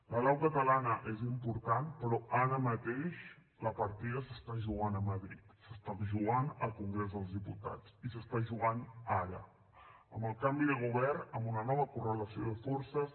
la lau catalana és important però ara mateix la partida s’està jugant a madrid s’està jugant al congrés dels diputats i s’està jugant ara amb el canvi de govern amb una nova correlació de forces